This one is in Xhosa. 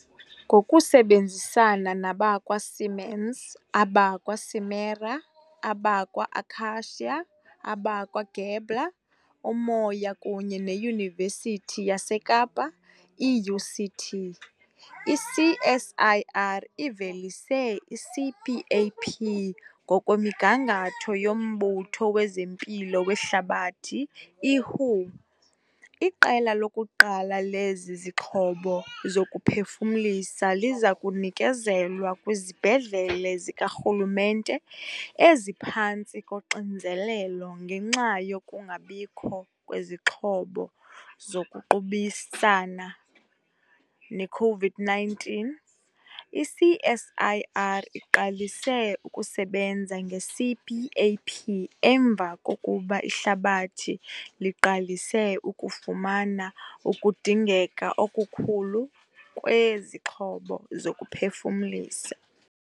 Ngokusebenzisana nabakwa-Siemens, abakwa-Simera, abakwa-Akacia, abakwa-Gabler, Umoya kunye neYunivesithi yaseKapa, i-UCT, i-CSIR ivelise i-CPAP ngokwemigangatho yoMbutho wezeMpilo weHlabathi, i-WHO. Iqela lokuqala lezi zixhobo zokuphefumlisa liza kunikezelwa kwizibhedlele zikarhulumente eziphantsi koxinzelelo ngenxa yokungabikho kwezixhobo zokuqubisana ne-COVID-19. I-CSIR iqalise ukusebenza nge-CPAP emva kokuba ihlabathi liqalise ukufumana ukudingeka okukhulu kwezixhobo zokuphefumlisa.